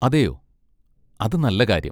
അതെയോ? അത് നല്ല കാര്യം.